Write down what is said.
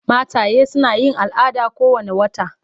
Mataye suna yin al'ada kowane wata.